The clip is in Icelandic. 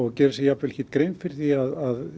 gera sér jafnvel ekki grein fyrir því að